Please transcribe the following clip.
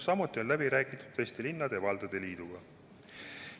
Samuti on läbi räägitud Eesti Linnade ja Valdade Liiduga.